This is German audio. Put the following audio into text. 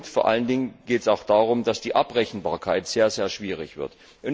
Vor allen Dingen geht es auch darum, dass die Abrechenbarkeit sehr schwierig wird.